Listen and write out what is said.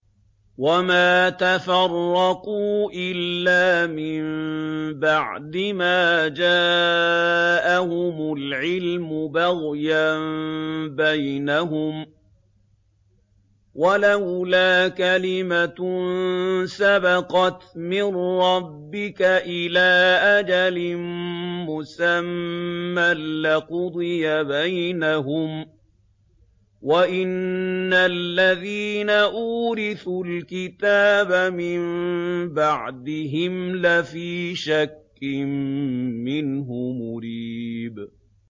وَمَا تَفَرَّقُوا إِلَّا مِن بَعْدِ مَا جَاءَهُمُ الْعِلْمُ بَغْيًا بَيْنَهُمْ ۚ وَلَوْلَا كَلِمَةٌ سَبَقَتْ مِن رَّبِّكَ إِلَىٰ أَجَلٍ مُّسَمًّى لَّقُضِيَ بَيْنَهُمْ ۚ وَإِنَّ الَّذِينَ أُورِثُوا الْكِتَابَ مِن بَعْدِهِمْ لَفِي شَكٍّ مِّنْهُ مُرِيبٍ